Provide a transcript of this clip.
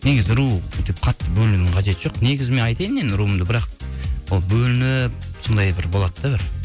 негізі ру деп қатты бөлінудің қажеті жоқ негізі мен айтайынды енді руымды бірақ ол бөлініп сондай бір болады да бір